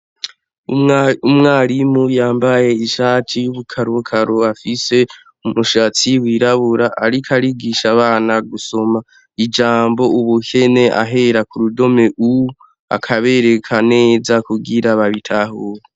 Umwarimu yambaye ishati y'ubukarokaro afise umushatsi wirabura ariko arigisha abana gusoma ijambo ubukene ahera ku rudome u akabereka neza kugira babitahure.